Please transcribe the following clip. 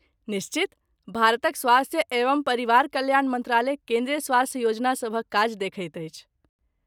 निश्चित। भारतक स्वास्थ्य एवं परिवार कल्याण मन्त्रालय केन्द्रीय स्वास्थ्य योजनासभक काज देखैत अछि।